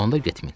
Onda get min.